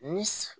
Ni